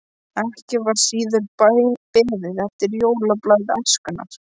Ekki var síður beðið eftir jólablaði Æskunnar.